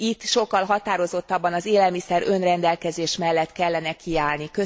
Itt sokkal határozottabban az élelmiszer önrendelkezés mellett kellene kiállni.